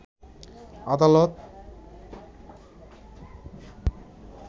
আদালত